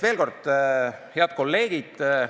Head kolleegid!